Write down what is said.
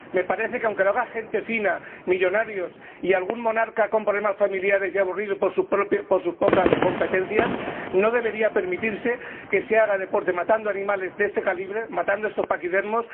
Me parece que, aunque lo haga gente fina, millonarios y algún monarca con problemas familiares y aburrido por sus pocas competencias, no debería permitirse que se haga deporte matando animales de este calibre, matando estos paquidermos.